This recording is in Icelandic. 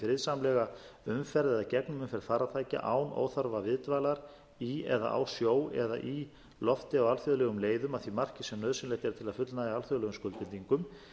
friðsamlega umferð eða gegnumferð farartækja án óþarfa viðdvalar í eða á sjó eða í lofti á alþjóðlegum leiðum að því marki sem nauðsynlegt er til að fullnægja alþjóðlegum skuldbindingum